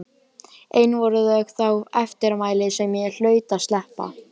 Ein voru þó þau eftirmæli sem ég hlaut að sleppa.